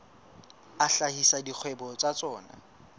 a hlahisa dikgwebo tsa tsona